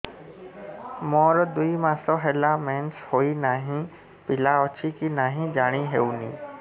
ମୋର ଦୁଇ ମାସ ହେଲା ମେନ୍ସେସ ହୋଇ ନାହିଁ ପିଲା ଅଛି କି ନାହିଁ ଜାଣି ହେଉନି